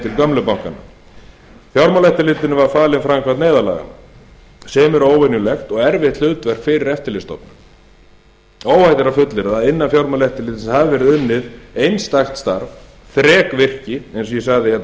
til gömlu bankanna fjármálaeftirlitinu var falin framkvæmd neyðarlaganna sem er óvenjulegt og erfitt hlutverk fyrir eftirlitsstofnun óhætt er að fullyrða að innan fjármálaeftirlitsins hefur verið unnið einstakt starf þrekvirki eins og ég sagði hérna